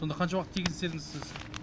сонда қанша уақыт тегін істедіңіз сіз